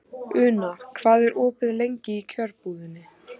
Una, hvað er opið lengi í Kjörbúðinni?